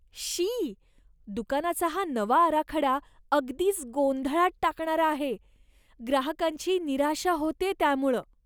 शी, दुकानाचा हा नवा आराखडा अगदीच गोंधळात टाकणारा आहे. ग्राहकांची निराशा होतेय त्यामुळं.